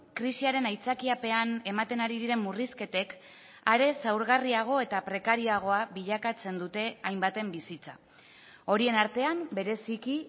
krisiaren aitzakiapean ematen ari diren murrizketek are zaurgarriago eta prekarioagoa bilakatzen dute hainbaten bizitza horien artean bereziki